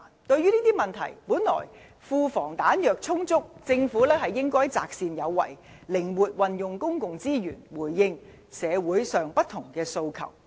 對於這些問題，本來庫房"彈藥"充足，政府應該擇善有為，靈活運用公共資源，回應社會上不同的訴求。